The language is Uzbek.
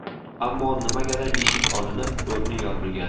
Ammo nimagadir eshik olinib, o‘rni yopilgan.